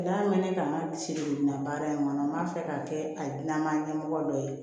N'a mɛn ne kan ka sirila baara in kɔnɔ n b'a fɛ k'a kɛ a dilanna ɲɛmɔgɔ dɔ ye